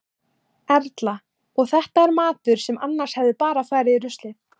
Erla: Og þetta er matur sem annars hefði bara farið í ruslið?